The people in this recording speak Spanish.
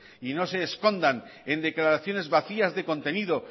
y no se escondan en declaraciones vacías de contenido